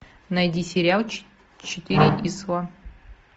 найди сериал четыре числа